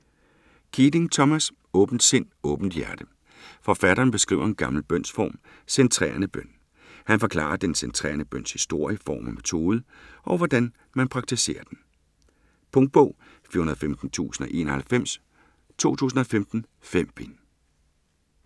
Keating, Thomas: Åbent sind, åbent hjerte Forfatteren beskriver en gammel bønsform, centrerende bøn. Han forklarer den centrerende bøns historie, form og metode, og hvordan man praktiserer den. Punktbog 415091 2015. 5 bind.